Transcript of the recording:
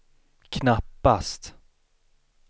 knappast